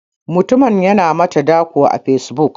Mutumin yana mata dako a facebook.